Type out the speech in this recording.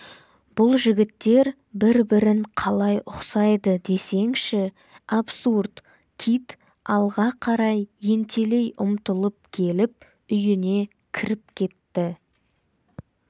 бұл жігіттер бір-бірін қалай ұқсайды десеңші абсурд кит алға қарай ентелей ұмтылып келіп үйіне кіріп кетті